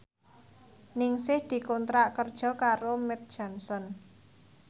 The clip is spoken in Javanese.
Ningsih dikontrak kerja karo Mead Johnson